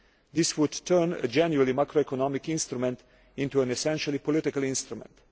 This would turn a genuinely macroeconomic instrument into an essentially political instrument